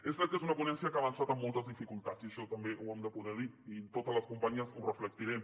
és cert que és una ponència que ha avançat amb moltes dificultats i això també ho hem de poder dir i totes les companyes ho reflectirem